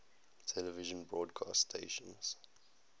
television broadcast stations